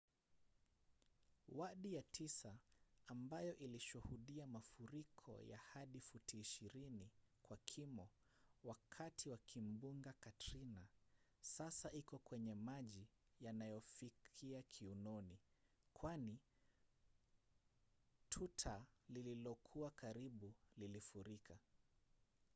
wadi ya tisa ambayo ilishuhudia mafuriko ya hadi futi 20 kwa kimo wakati wa kimbunga katrina sasa iko kwenye maji yanayofikia kiunoni kwani tuta lililokuwa karibu lilifurika